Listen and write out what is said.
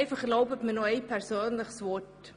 Erlauben Sie mir noch eine persönliche Bemerkung: